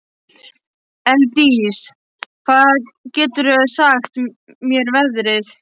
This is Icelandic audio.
Elddís, hvað geturðu sagt mér um veðrið?